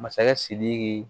Masakɛ sidiki